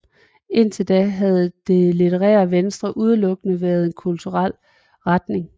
Indtil da havde Det litterære Venstre udelukkende været en kulturel retning